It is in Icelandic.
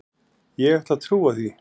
Ég ætla að trúa því.